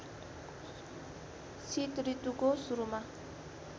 शीत ऋतुको सुरुमा